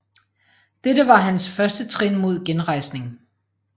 Dette var hans første trin mod genrejsning